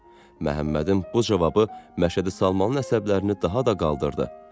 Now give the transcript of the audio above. Məhəmmədin bu cavabı Məşədi Salmanın əsəblərini daha da qaldırdı.